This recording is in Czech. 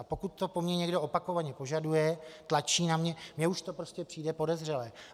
A pokud to po mně někdo opakovaně požaduje, tlačí na mě, mně už to prostě přijde podezřelé.